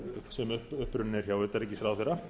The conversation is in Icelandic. sem upprunnin er hjá utanríkisráðherra